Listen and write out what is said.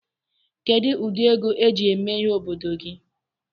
Kedụ ụdị ego eji eme ihe n'obodo gị?